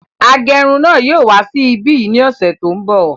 Agẹrun náà yóò wá sí ibí yìí ní ọsẹ tó n bọ